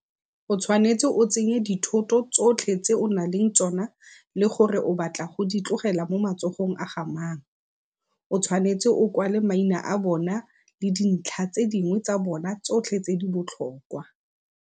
O tshwanetse o tsenye dithoto tsotlhe tse o nang le tsona le gore o batla go di tlogela mo matsogong a ga mang, o tshwanetse o kwale maina a bona le dintlha tse dingwe tsa bona tsotlhe tse di botlhokwa.